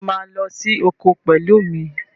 Ṣé o máa lọ sí oko pẹ̀lú mi?